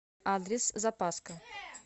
адрес запаска